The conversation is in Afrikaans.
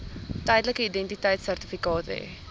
tydelike identiteitsertifikaat hê